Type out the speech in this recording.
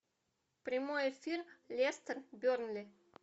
прямой эфир лестер бернли